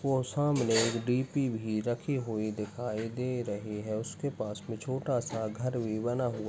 और सामने एक डी. पी. भी रखी हुई दिखाई दे रही है उसके पास में छोटा सा घर भी बना हुआ है।